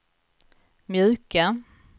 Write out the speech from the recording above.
mjuka